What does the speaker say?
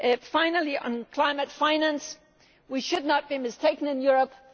Finally on climate finance, we should not be mistaken in Europe.